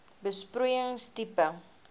besproeiing tipe